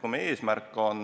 Kui meie eesmärk on